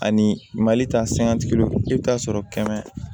Ani mali ta sangatigiw i bɛ taa sɔrɔ kɛmɛ